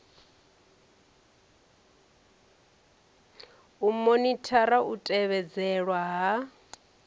u monithara u tevhedzelwa ha